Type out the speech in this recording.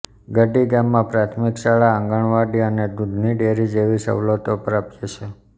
ગડી ગામમાં પ્રાથમિક શાળા આંગણવાડી અને દૂધની ડેરી જેવી સવલતો પ્રાપ્ય છે